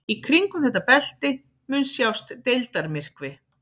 Í kringum þetta belti mun sjást deildarmyrkvi.